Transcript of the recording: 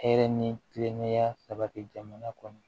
Hɛrɛ ni kilennenya sabati jamana kɔnɔ